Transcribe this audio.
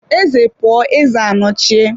Eze pụọ, eze anochie.